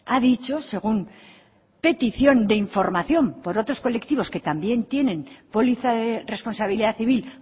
ha dicho según petición de información por otros colectivos que también tienen póliza de responsabilidad civil